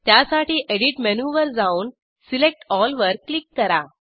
त्यासाठी एडिट मेनूवर जाऊन सिलेक्ट एल वर क्लिक करा